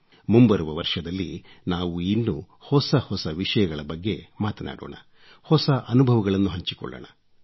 ಮುಂಬರುವ ವರ್ಷದಲ್ಲಿ ನಾವು ಇನ್ನೂ ಹೊಸ ಹೊಸ ವಿಷಯಗಳ ಬಗ್ಗೆ ಮಾತನಾಡೋಣ ಹೊಸ ಅನುಭವಗಳನ್ನು ಹಂಚಿಕೊಳ್ಳೋಣ